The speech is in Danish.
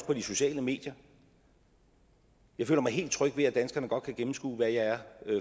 på de sociale medier jeg føler mig helt tryg ved at danskerne godt kan gennemskue hvad jeg er